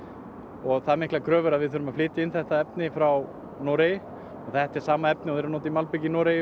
og það miklar kröfur að við þurfum að flytja inn þetta efni frá Noregi og þetta er sama efni og verið nota í malbik í Noregi